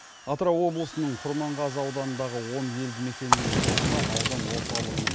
атырау облысының құрманғазы ауданындағы он елді мекеннің тұрғыны аудан орталығымен